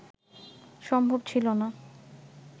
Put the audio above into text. সম্ভব ছিলনা